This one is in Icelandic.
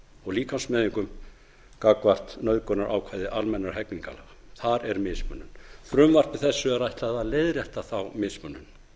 og líkamsmeiðingum gagnvart nauðgunarákvæði almennra hegningarlaga þar er mismunun frumvarpi þessu er ætlað að leiðrétta þá mismunun